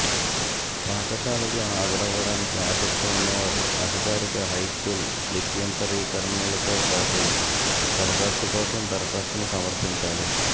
పాఠశాలకు హాజరవ్వటానికి ఆసక్తి ఉన్నవారు అధికారిక హైస్కూల్ లిప్యంతరీకరణలతోపాటు దరఖాస్తు కోసం దరఖాస్తును సమర్పించాలి